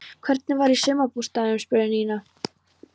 Hvernig var í sumarbústaðnum? spurði Nína.